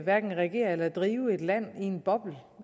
hverken regere eller drive et land i en boble